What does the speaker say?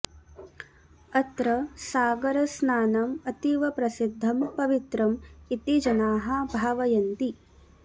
अत्र सागरस्नानम् अतीव प्रसिद्धं पवित्रम् इति जनाः भावयन्ति